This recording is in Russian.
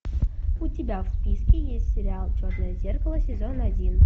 у тебя в списке есть сериал черное зеркало сезон один